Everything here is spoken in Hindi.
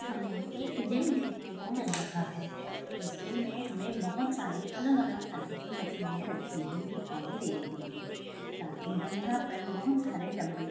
हमें एक जिम देखने को मिल रहा है। ईस जिम मैं हमें बहोत सारी अलग अलग तरह की मशीने रखी हुई दिखाई दे रही है। साथ ही हम यहाँ पर बहोत सारे डम्बल्स --